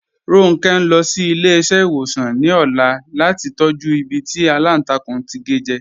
Ronke n lọ sí ilẹ̀-iṣẹ̀wosan ní ọ̀là lati tọ̀jú ìbí tí alántàkùn to ke jẹ.